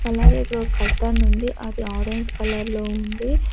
అలాగే ఇక్కడొక కట్టనుంది అది ఆరెంజ్ కలర్ లో ఉంది.